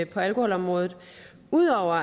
på alkoholområdet ud over